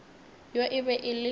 yo e be e le